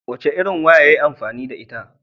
Wace irin waya yayi amfani da ita?